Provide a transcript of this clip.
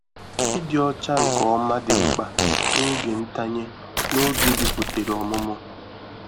Ịdị ọcha nke ọma dị mkpa n'oge ntanye na-oge biputere ọmụmụ.